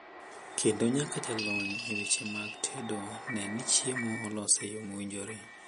Kendo nyaka jalony e weche mag tedo ne ni chiemo olos e yo mowinjore.